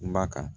Ba kan